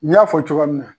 N y'a fɔ cogoya min na